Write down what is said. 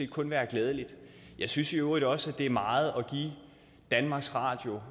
kun være glædeligt jeg synes i øvrigt også at det er meget at give danmarks radio